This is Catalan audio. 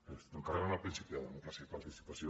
ens estem carregant el principi de democràcia i participació